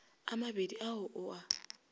a mabedi a o a